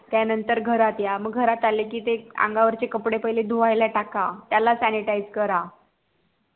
त्या नंतर घरात या म घरात आल कि ते अंगा वरचे कपडे पहिले धुवायला टाका त्याला sanitized करा